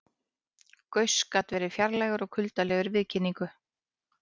Gauss gat verið fjarlægur og kuldalegur í viðkynningu.